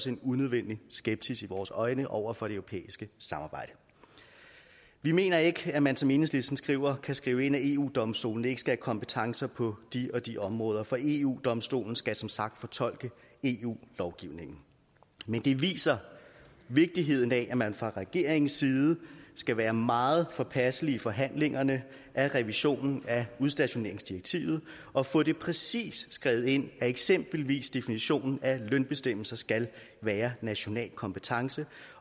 en unødvendig skepsis vores øjne over for det europæiske samarbejde vi mener ikke at man som enhedslisten skriver kan skrive ind at eu domstolen ikke skal have kompetencer på de og de områder for eu domstolen skal som sagt fortolke eu lovgivningen men det viser vigtigheden af at man fra regeringens side skal være meget påpasselig i forhandlingerne af revisionen af udstationeringsdirektivet og få det præcist skrevet ind at eksempelvis definitionen af lønbestemmelser skal være national kompetence